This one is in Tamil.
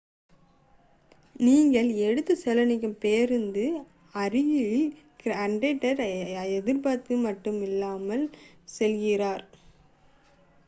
நீங்கள் எடுத்து செல்ல நினைக்கும் பேருந்து அருகிலுள்ள கிரியாட் அர்பாக்கு மட்டுமல்ல ஹெப்ரானுக்கு செல்கிறது